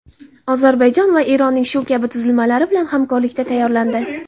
Ozarbayjon va Eronning shu kabi tuzilmalari bilan hamkorlikda tayyorlandi.